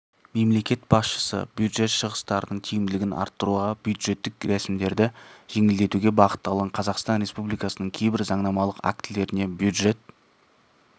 мемлекет басшысы бюджет шығыстарының тиімділігін арттыруға бюджеттік рәсімдерді жеңілдетуге бағытталған қазақстан республикасының кейбір заңнамалық актілеріне бюджет